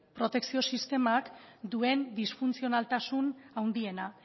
protekzio sistemak duen disfuntzionaltasun handiena